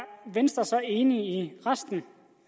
venstre så enig i resten